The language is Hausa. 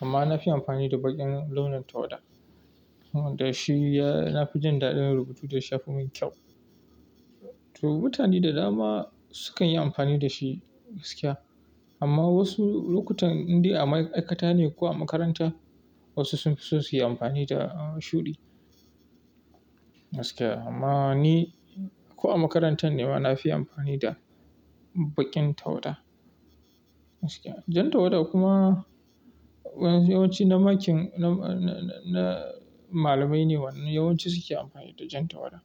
Amma na fi amfani da baƙin launin tawada. Da shi ya-- na fi jin daɗin rubutu da ya shafi mun kyau. To mutane da dama sukan yi amfani da shi gaskiya. Amma wasu lokutan, indai a ma'aikata ne ko a makaranta wasu sun fi son su yi amfani da shuɗi gaskiya. Amma ni ko a makaranta ne ma na fi amfani da baƙin tawada gaskiya. Jan tawada kuma yawanci na makin na-na-na malamai ne wani yawanci su ke amfani da jan tawada.